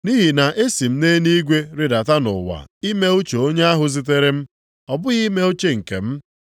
Nʼihi na esi m nʼeluigwe rịdata nʼụwa ime uche onye ahụ zitere m, ọ bụghị ime uche nke m.